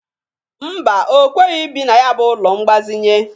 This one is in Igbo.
Mba, o kweghi ibi na ya bụ ụlọ mgbazịnye.